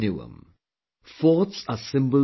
Forts are symbols of our heritage